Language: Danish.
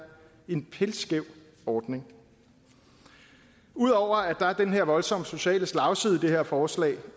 en pilskæv ordning ud over at der er den her voldsomme sociale slagside i det her forslag